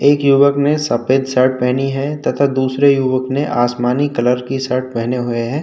एक युवक ने सफ़ेद शर्ट पहनी है तथा दूसरे युवक ने आसमानी कलर की शर्ट पहने हुए है।